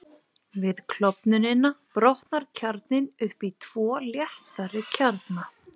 Við klofnunina brotnar kjarninn upp í tvo léttari kjarna.